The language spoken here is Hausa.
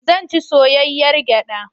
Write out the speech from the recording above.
Zan ci soyayyar gyaɗa.